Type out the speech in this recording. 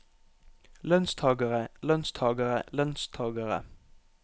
lønnstagere lønnstagere lønnstagere